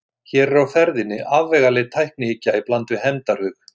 Hér er á ferðinni afvegaleidd tæknihyggja í bland við hefndarhug.